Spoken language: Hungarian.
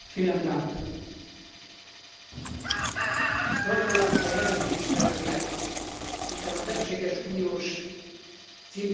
Gratulálok a jelentéstevőnek, hiszen az egységes uniós címkézés fokozza termelőink versenyképességét.